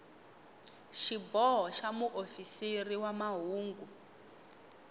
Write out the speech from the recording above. xiboho xa muofisiri wa mahungu